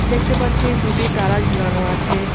দেখতে পাচ্ছি দুটি তালা ঝুলানো আছে।